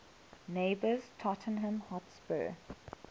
neighbours tottenham hotspur